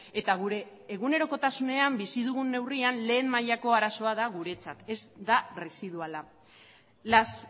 eta gure egunerokotasunean bizi dugun neurrian lehen mailako arazoa guretzat ez da residuala las